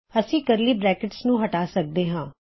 ਅਸੀ ਇਨ੍ਹਾ curly brackets ਨੂੰ ਹਟਾ ਸਕਦੇ ਹਾਂ